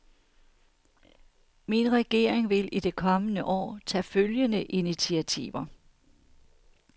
Min regering vil i det kommende år tage følgende initiativer.